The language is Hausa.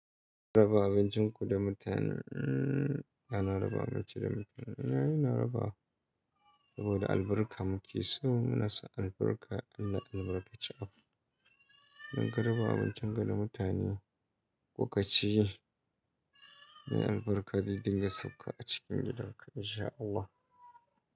Raba abincin ku da mutanen, yana raba abinci da mutanen yana raba saboda albarka muke so. Muna so albarka, Allah ya albarkace abu. Don ga raba abincin ku da mutane. Lokaci, na albarka zai dinga sauka a cikin gidanku insha Allah.